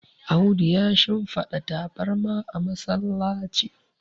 Audu ya shimfada tabarma a masallaci